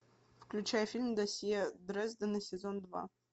включай фильм досье дрездена сезон два